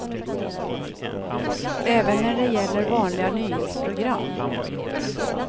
Även när det gäller vanliga nyhetsprogram.